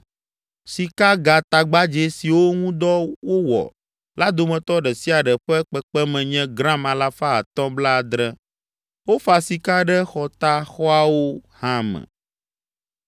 Sikagatagbadzɛ siwo ŋu dɔ wowɔ la dometɔ ɖe sia ɖe ƒe kpekpeme nye gram alafa atɔ̃ blaadre. Wofa sika ɖe xɔtaxɔawo hã me.